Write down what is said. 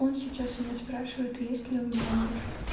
он сейчас у меня спрашивает есть ли у меня муж